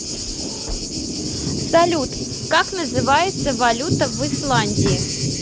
салют как называется валюта в исландии